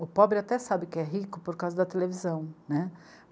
O pobre até sabe que é rico por causa da televisão, né.